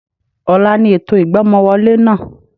Ọ̀la ni ètò ìgbọ́mọwọlé náà